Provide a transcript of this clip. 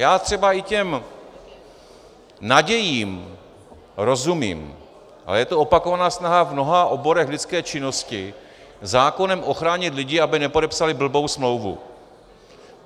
Já třeba i těm nadějím rozumím, ale je to opakovaná snaha v mnoha oborech lidské činnosti zákonem ochránit lidi, aby nepodepsali blbou smlouvu.